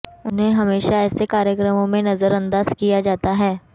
उन्हें हमेशा ऐसे कार्यक्रमों में नज़रअंदाज़ किया जाता रहा है